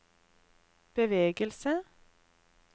bevegelse